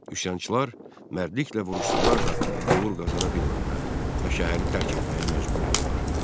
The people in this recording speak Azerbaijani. Üsyançılar mərdliklə vuruşsalar da uğur qazana bilmədilər və şəhəri tərk etməyə məcbur oldular.